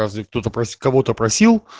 разве кто-то кого-то просил